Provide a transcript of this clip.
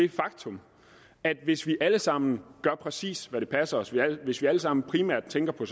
et faktum at hvis vi alle sammen gør præcis hvad der passer os hvis vi alle sammen primært tænker på